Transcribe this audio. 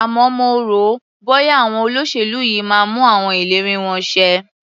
Àmọ́ mo rò ó, bọ́ya àwọn olóṣèlú yìí máa mú àwọn ìlérí wọn ṣẹ.